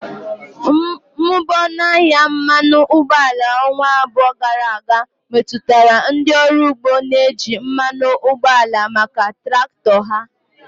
Mmụba ọnụ ahịa mmanụ ụgbọala ọnwa abụọ gara aga metụtara ndị ọrụ ugbo na-eji mmanụ ụgbọala maka traktọ ha.